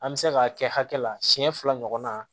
An bɛ se k'a kɛ hakɛ la siɲɛ fila ɲɔgɔnna